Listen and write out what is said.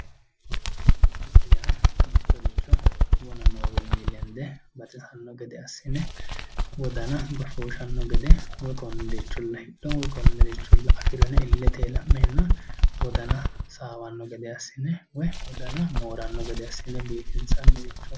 Biifisa yaa mittoricho wona noowinnin lenidde baxisanno gede assine wodana joshooshanno gede woyi konne richolla hidho woyi konne richolla afiro yine illetey la'neenna wodana saaweenno gede assine woyi wodana mooranno gede assine biifinisoonirichooti